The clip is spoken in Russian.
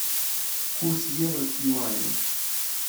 курс евро к юаню